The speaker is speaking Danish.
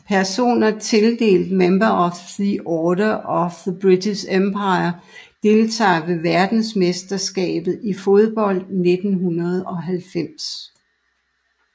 Personer tildelt Member of the Order of the British Empire Deltagere ved verdensmesterskabet i fodbold 1990